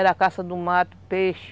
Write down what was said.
Era caça do mato, peixe.